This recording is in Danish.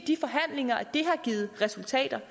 har givet resultater